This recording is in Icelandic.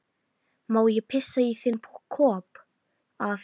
Má ég pissa í þinn kopp, afi?